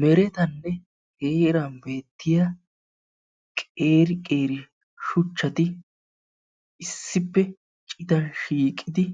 Meretanne heeran beettiyaa qeeri qeeri shuchchaati issippe citan shiiqidi